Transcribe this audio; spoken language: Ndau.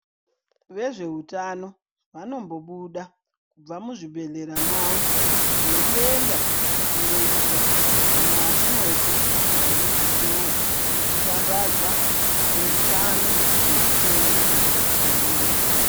Vezvehutano vanombobuda kubva muzvibhedhleya mavo , veyiyenda kunoyita kana atindoti marodi sho , ekushambadza zvehutano nezvitenda zvinonetsa.